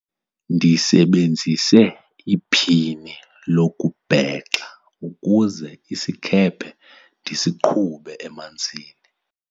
ndisebenzise iphini lokubhexa ukuze isikhephe ndisiqhube emanzini